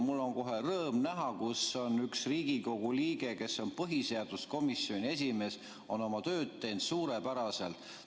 Mul on kohe rõõm näha, et üks Riigikogu liige, kes on põhiseaduskomisjoni esimees, on oma tööd teinud suurepäraselt.